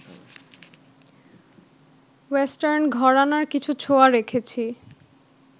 western ঘরানার কিছু ছোঁয়া রেখেছি